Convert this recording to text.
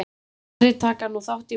Færri taka nú þátt í mótmælum